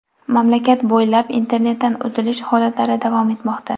Mamlakat bo‘ylab internetdan uzilish holatlari davom etmoqda.